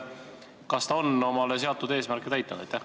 Kas ta on omale seatud eesmärgid täitnud?